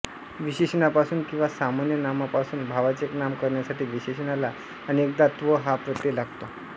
विशेषणापासून किंवा सामान्य नामापासून भाववाचक नाम करण्यासाठी विशेषणाला अनेकदा त्व हा प्रत्यय लागतो